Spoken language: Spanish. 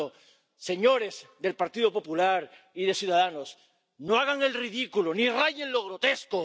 Por tanto, señores del Partido Popular y de Ciudadanos, no hagan el ridículo ni rayen en lo grotesco.